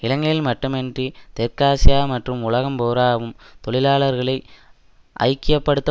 இலங்கையில் மட்டுமன்றி தெற்காசியா மற்றும் உலகம் பூராவும் தொழிலாளர்களை ஐக்கிய படுத்த